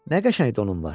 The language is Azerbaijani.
Nə qəşəng donun var.